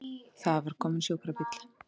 Það var kominn sjúkrabíll!